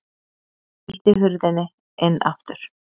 Hann ýtti hurðinni inn aftur.